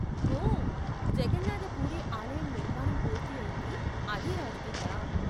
ఓ, జగన్నాథ పూరీ ఆలయం నిర్మాణం పూర్తి అయింది అదే రాజు కింద.